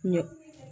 Ɲɛ